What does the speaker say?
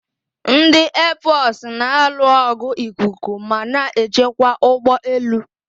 Ndị eefọsụ na alụ ọgụ ikuku ma na-echekwa ụgbọ elu.